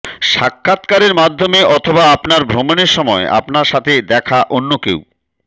সাক্ষাৎকারের মাধ্যমে অথবা আপনার ভ্রমণের সময় আপনার সাথে দেখা অন্য কেউ